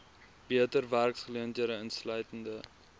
beter werksgeleenthede insluitende